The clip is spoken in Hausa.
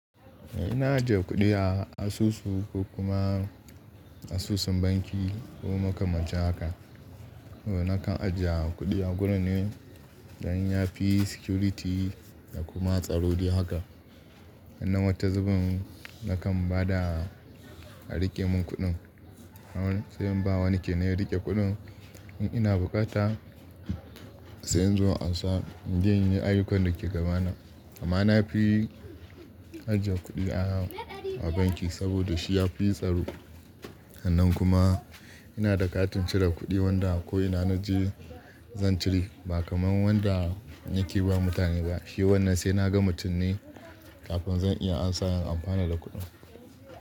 Ina ajiye kuɗi a asusu ko kuma asusun banki ko makamancin haka. Nakan ajiye kuɗi a gurin ne don ya fi security da kuma tsaro dai haka. Sanan wata zubin nakan ba da a riƙe mun kuɗin. Sai in bawa wani kenan ya riƙe kuɗin. In ina buƙata sai in zo ansa in je in yi ayyukan da ke gabana. Amma na fi ajiye kuɗi a banki saboda shi ya fi tsaro. Sanan kuma ina da katin cire kuɗi wanda ko ina na je zan cire ba kamar wanda yake yi wa mutane ba. Shi wannan sai na ga mutum ne kafin zan iya ansa in amfana da kuɗin.